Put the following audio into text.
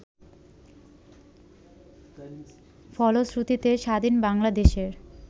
ফলশ্রুতিতে স্বাধীন বাংলাদেশের